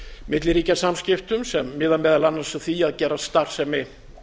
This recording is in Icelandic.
milliríkjasamskiptum sem miða meðal annars að því að gera starfsemi